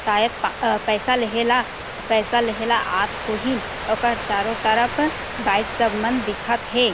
शायद पा अ पैसा लेहे ला पैसा लेहे ला आत होही ओकर चारो तरफ बाइक सब मन दिखत हे ।